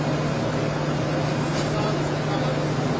Hə, dörd yüz səkkiz min.